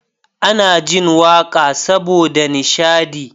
Ana jin waƙa saboda nishadi